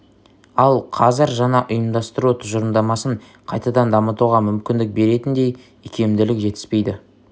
ал қазір жаңа ұйымдастыру тұжырымдамасын қайтадан дамытуға мүмкіндік беретіндей икемділік жетіспейді